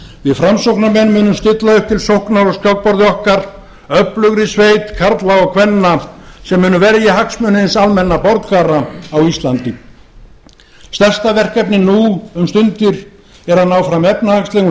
við framsóknarmenn munum stilla upp til sóknar á skákborði okkar öflugri sveit karla og kvenna sem mun verja hagsmuni hins almenna borgara á íslandi því heiti ég ykkur íslendingar stærsta verkefnið nú um stundir er að ná fram efnahagslegum